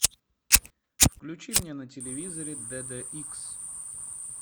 включи мне на телевизоре д д икс